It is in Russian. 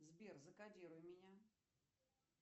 сбер закодируй меня